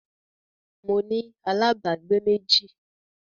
Mo ní alábágbé méjì